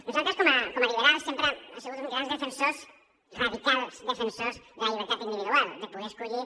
nosaltres com a liberals sempre hem sigut uns grans defensors radicals defensors de la llibertat individual de poder escollir